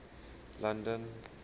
london